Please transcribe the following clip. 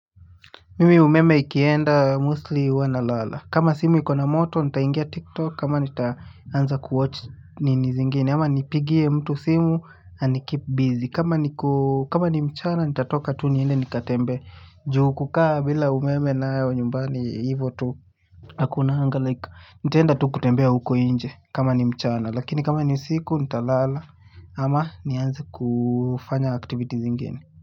Mimi umeme ikienda mostly hua nalala kama simu ikona moto nita ingia tiktok ama nita anza kuwatch nini zingine ama nipigie mtu simu anikeep bizi kama niko kama ni mchana nitatoka tu niende nikatembee ju kukaa bila umeme nayo nyumbani ivyo tu hakunanga like nitaenda tu kutembea huko nje kama ni mchana lakini kama ni siku nita lala ama niaenza kufanya aktiviti zingine.